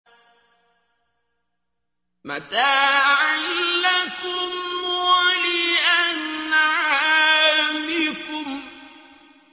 مَتَاعًا لَّكُمْ وَلِأَنْعَامِكُمْ